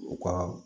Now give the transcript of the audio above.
U ka